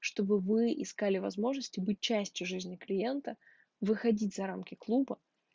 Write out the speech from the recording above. чтобы вы искали возможности быть частью жизни клиента выходить за рамки клуба